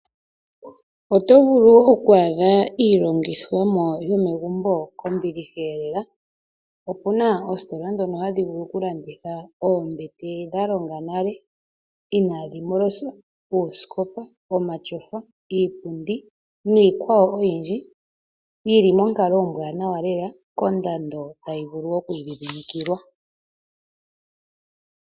Oto vulu oku adha iilongithomwa yomegumbo kombiliha lela. Opu na ositola dhoka hadhi vulu okulanditha oombete dha longa nale ina dhi moloswa osikopa ,omatyofa, iipundi niikwawo oyindji yi li monkalo ombwanawa lela kondando tayi vulu okwiidhidhimikilwa.